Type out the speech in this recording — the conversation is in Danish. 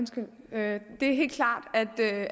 jamen det er helt klart